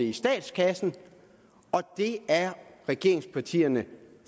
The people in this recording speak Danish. i statskassen det er regeringspartierne